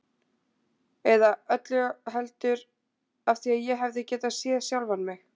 Eða öllu heldur: af því ég hefði getað séð sjálfan mig.